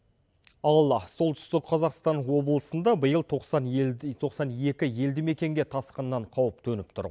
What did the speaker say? ал солтүстік қазақстан облысында биыл тоқсан елді тоқсан екі елді мекенге тасқыннан қауіп төніп тұр